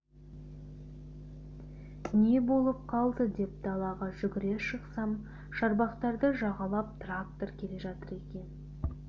не болып қалды деп далаға жүгіре шықсам шарбақтарды жағалап трактор келе жатыр екен